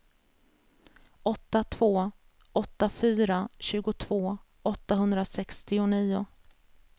åtta två åtta fyra tjugotvå åttahundrasextionio